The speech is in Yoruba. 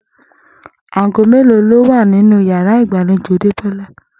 Àga mélòó ló wà nínú yàrá ìgbàlejò Débó̩lá?